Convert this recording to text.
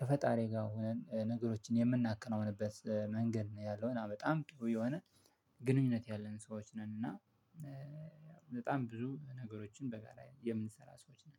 ከፈጣሪ ጋር ወነን ነገሮችን የምናከናውንበት መንገድ ነው ያለው እና በጣም ጥሩ የወነ ግንኙነት ያለን ሰዎች ነን። እና በጣም ብዙ ነገሮችን በጋራ የምንሰራ ሰዎች ነን